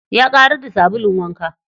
Ya ƙarar da sabulun wanka.